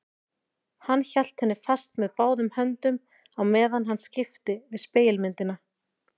Hann hélt henni fast með báðum höndum á meðan hann skipti við spegilmyndina.